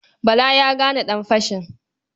Bala ya gane ɗanfashin.